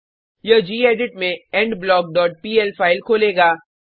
यह गेडिट में endblock dot PL file खोलेगा